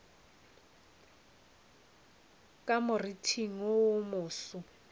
ka moriting wo wo moso